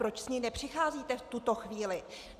Proč s ní nepřicházíte v tuto chvíli?